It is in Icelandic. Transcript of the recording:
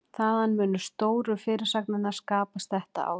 Þaðan munu stóru fyrirsagnirnar skapast þetta árið.